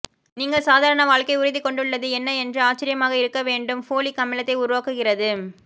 நீங்கள் சாதாரண வாழ்க்கை உறுதி கொண்டுள்ளது என்ன என்று ஆச்சரியமாக இருக்க வேண்டும் ஃபோலிக் அமிலத்தை உருவாக்குகிறது